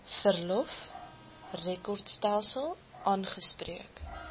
verlof rekordstelsel aangespreek